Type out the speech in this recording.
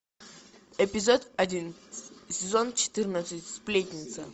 эпизод один сезон четырнадцать сплетница